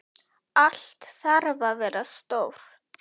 Allt þarf að vera stórt.